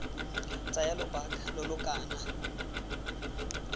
tsaya lobaka lo lo kana